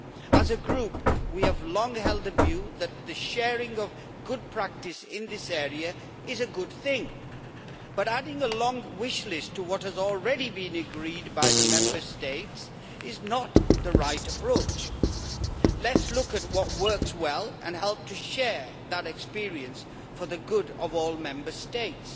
As a group, we have long held the view that the sharing of good practice in this area is a good thing, but adding a long wish list to what has already been agreed by the Member States is not the right approach. Let us look at what works well and help to share that experience for the good of all Member States,